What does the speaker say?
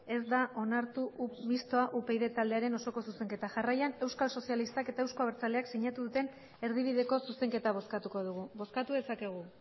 ez da onartu mistoa upyd taldearen osoko zuzenketa jarraian euskal sozialistak eta euzko abertzaleak sinatu duten erdibideko zuzenketa bozkatuko dugu bozkatu dezakegu